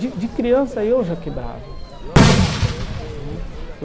De de criança eu já quebrava né que eu.